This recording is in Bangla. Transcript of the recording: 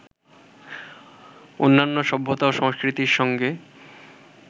অন্যান্য সভ্যতা ও সংস্কৃতির সঙ্গে